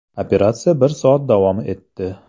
Operatsiya bir soat davom etdi.